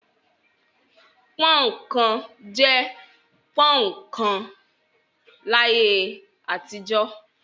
Pọ́ń-ọ̀n kan' jẹ́ pọ́ń-ọ̀n kan láyé àtijọ́.